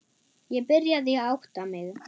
Ég byrjaði að átta mig.